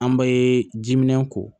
An bɛ jiminɛn ko